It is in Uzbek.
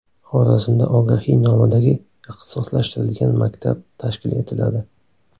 Xorazmda Ogahiy nomidagi ixtisoslashtirilgan maktab tashkil etiladi.